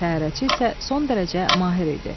Təyyarəçi isə son dərəcə mahir idi.